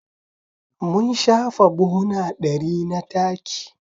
Mun shafa buhuna ɗari na taki.